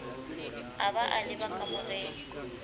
a ba a leba kamoreng